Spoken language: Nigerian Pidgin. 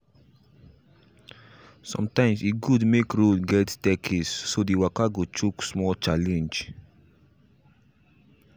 sometimes e good make road get staircase so the waka go choke small challenge.